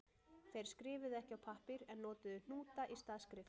Þeir skrifuðu ekki á pappír en notuðu hnúta í stað skriftar.